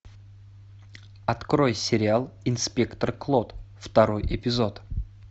открой сериал инспектор клот второй эпизод